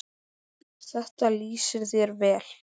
Þetta lýsir þér vel.